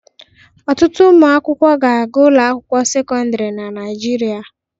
Ọtụtụ ụmụ akwụkwọ na-agụ n'ụlọ akwụkwọ sekọndịrị na Naịjirịa